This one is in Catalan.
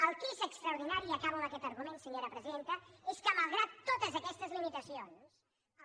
el que és extraordinari i acabo amb aquest argument senyora presidenta és que malgrat totes aquestes limitacions el